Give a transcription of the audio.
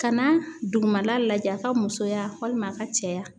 Ka na dugumala lajɛ A ka musoya walima a ka cɛya.